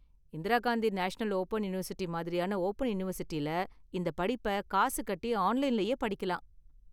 Indira Gandhi National Open University மாதிரியான open யூனிவர்சிட்டில இந்த படிப்ப காசு கட்டி ஆன்லைன்லயே படிக்கலாம்.